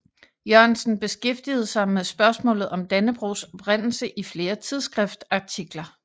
Jørgensen beskæftigede sig med spørgsmålet om Dannebrogs oprindelse i flere tidsskriftsartikler